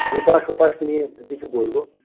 এপাশ ওপাশ নিয়ে কিছু বলবো